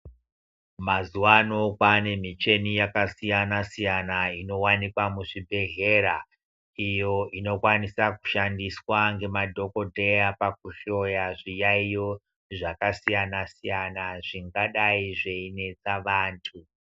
Mazuva ano kwanemicheni yakasiyana siyana inowanikwa muzvibhehlera iyo inokwanisa kushandiswa nemadhokodheya pakuhloya zviyaiyo zvakasiyana siyana zvingadai zveinesa vantu.